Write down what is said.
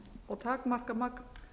og takmarka magn